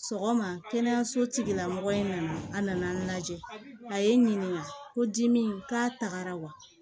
Sɔgɔma kɛnɛyaso tigilamɔgɔ in na a nana n lajɛ a ye n ɲininka ko dimi k'a la wa